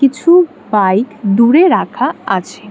কিছু বাইক দূরে রাখা আছে।